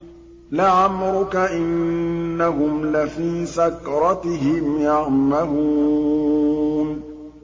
لَعَمْرُكَ إِنَّهُمْ لَفِي سَكْرَتِهِمْ يَعْمَهُونَ